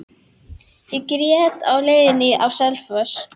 Ég grét á leiðinni á Selfoss.